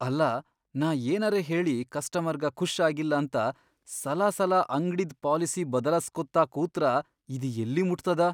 ಅಲ್ಲಾ ನಾ ಏನರೇ ಹೇಳಿ ಕಸ್ಟಮರ್ಗ ಖುಷ್ ಆಗಿಲ್ಲಂತ ಸಲಾಸಲ ಅಂಗ್ಡಿದ್ ಪಾಲಿಸಿ ಬದಲಾಸ್ಕೋತ ಕೂತ್ರ ಇದ್ ಯಲ್ಲಿಮುಟ್ತದ?